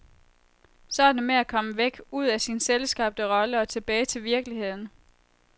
Så er det med at komme væk, ud af sin selvskabte rolle og tilbage til virkeligheden.